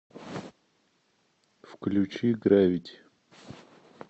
включи гравити